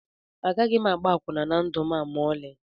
Agaghị m agba akwụna na ndụ a ma ọlị